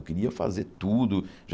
Eu queria fazer tudo. Já